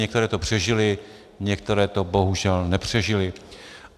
Některé to přežily, některé to bohužel nepřežily.